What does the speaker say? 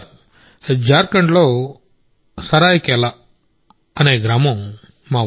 జార్ఖండ్లో సరాయికెలా అనే ఒక చిన్న ఊరుంది